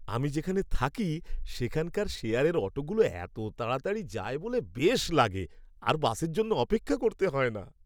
আমি যেখানে থাকি সেখানকার শেয়ারের অটোগুলো এত তাড়াতাড়ি যায় বলে বেশ লাগে, আর বাসের জন্য অপেক্ষা করতে হয় না।